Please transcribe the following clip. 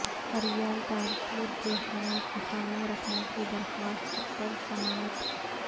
فریال تالپور کے خلاف اقامہ رکھنے کی درخواست پرسماعت